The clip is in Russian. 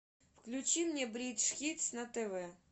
включи мне бридж хитс на тв